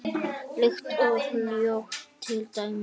Lykt og hljóð til dæmis.